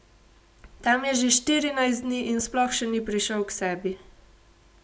Tam je že štirinajst dni in sploh še ni prišel k sebi.